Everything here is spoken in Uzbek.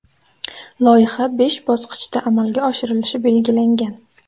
Loyiha besh bosqichda amalga oshirilishi belgilangan.